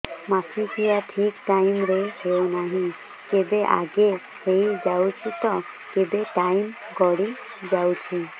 ମାସିକିଆ ଠିକ ଟାଇମ ରେ ହେଉନାହଁ କେବେ ଆଗେ ହେଇଯାଉଛି ତ କେବେ ଟାଇମ ଗଡି ଯାଉଛି